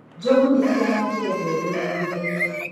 Njogu nĩ cianangire mbembe mũgũnda-ini.